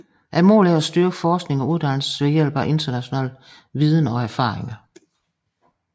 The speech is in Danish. Målet er at styrke forskning og uddannelse ved hjælp af international viden og erfaringer